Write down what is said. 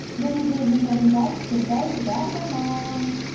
және сөздің соңында кішкентай жарнама